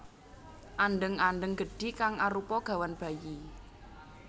Andheng andheng gedhi kang arupa gawan bayi